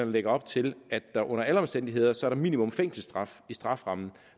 lægger op til at der under alle omstændigheder som minimum fængselsstraf i strafferammen og